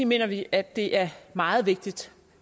mener vi at det er meget vigtigt